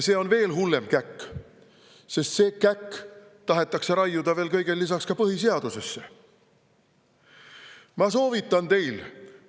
See on veel hullem käkk, sest see käkk tahetakse kõigele lisaks raiuda veel ka põhiseadusesse.